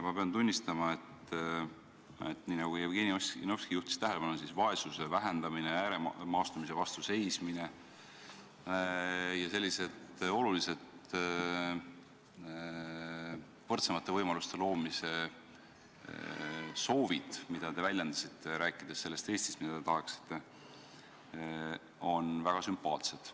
Ma pean tunnistama, et nii nagu Jevgeni Ossinovski tähelepanu juhtis, on vaesuse vähendamine, ääremaastumise vastu seismine ja sellised olulised võrdsemate võimaluste loomise soovid, mida te väljendasite, rääkides sellest Eestist, mida te tahaksite, väga sümpaatsed.